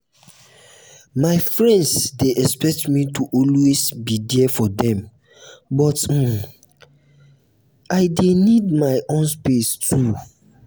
my friend dey expect me to always be there for dem but i dey um need my own um space too.